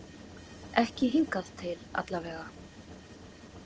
Ekki hingað til allavega.